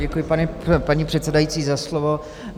Děkuji, paní předsedající, za slovo.